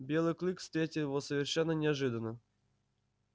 белый клык встретил его совершенно неожиданно